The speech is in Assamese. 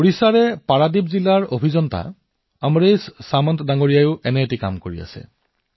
ওড়িশাৰ পাৰাদ্বীপ জিলাৰ অভিযন্তা অমৰেশ সামন্তে একেধৰণৰ কাম কৰিছে